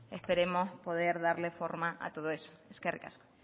esperemos poder darle forma a todo eso eskerrik asko